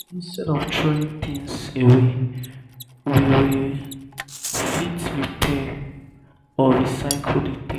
instead of throwing things away we we fit repair um or recycle di thing